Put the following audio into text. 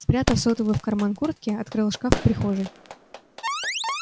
спрятав сотовый в карман куртки открыл шкаф в прихожей